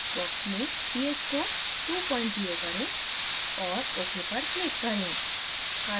text box में ph को 20 करें और ok पर click करें